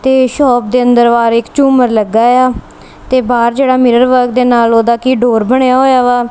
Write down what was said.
ਤੇ ਸ਼ੌਪ ਦੇ ਅੰਦਰ ਵਾਰ ਇੱਕ ਝੂੰਮਰ ਲੱਗਾ ਹੋਯਾ ਤੇ ਬਾਹਰ ਜੇਹੜਾ ਮਿਰਰ ਵਾ ਇਹਦੇ ਨਾਲ ਓਹਦਾ ਕੀ ਡੋਰ ਬਣਿਆ ਹੋਯਾ ਵਾ।